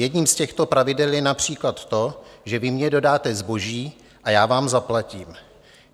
Jedním z těchto pravidel je například to, že vy mně dodáte zboží a já vám zaplatím.